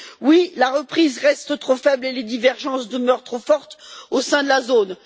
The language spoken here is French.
Oui, la reprise reste trop faible et les divergences demeurent trop fortes au sein de la zone.